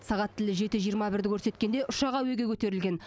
сағат тілі жеті жиырма бірді көрсеткенде ұшақ әуеге көтерілген